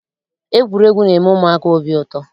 Egwuregwu na-eme ụmụaka obi ụtọ.